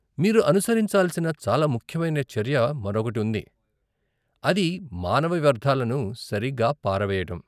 మీరు అనుసరించాల్సిన చాలా ముఖ్యమైన చర్య మరొకటి ఉంది, అది మానవ వ్యర్థాలను సరిగా పారవేయడం.